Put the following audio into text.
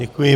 Děkuji.